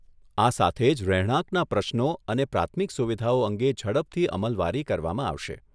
આ સાથે જ રહેણાંકના પ્રશ્નો અને પ્રાથમિક સુવિધાઓ અંગે ઝડપથી અમલવારી કરવામાં આવશે.